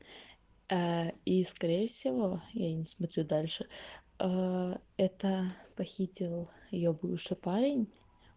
ээ и скорее всего я не смотрю дальше ээ это похитил её бывший парень